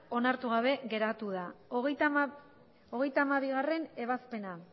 onartu gabe geratu da hogeita hamabigarrena ebazpena